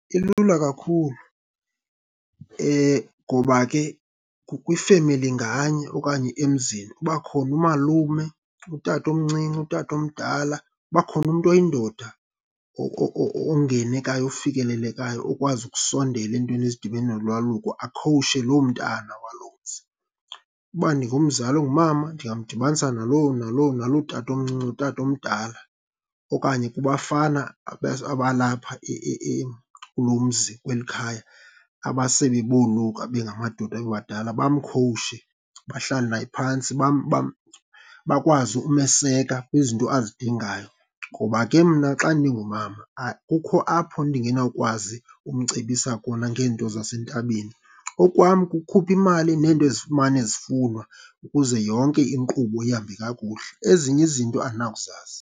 Ilula kakhulu ngoba ke kwifemeli nganye okanye emzini uba khona umalume, utatomncinci, utatomdala, uba khona umntu oyindoda ongenekayo, ofikelelekayo, okwazi ukusondela eentweni ezidibene nolwaluko, akhowushe loo mntana waloo mzi. Uba ndingumzali ongumama ndingamdibanisa naloo tatomncinci, utatomdala okanye kubafana abalapha kulo mzi, kweli khaya abasele boluka bengamadoda bebadala bamkhowushe, bahlale naye phantsi bakwazi umeseka kwizinto azidingayo. Ngoba ke mna xa ndingumama kukho apho ndingenawukwazi umcebisa kona ngeento zasentabeni. Okwam kukukhupha imali neento ezifumane zifunwa ukuze yonke inkqubo ihambe kakuhle. Ezinye izinto andinakuzazi.